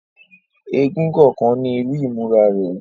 Èègún kọọkan ni iru imura rẹ